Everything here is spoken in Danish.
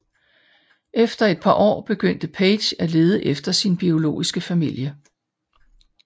Efter et par år begyndte Paige at lede efter sin biologiske familie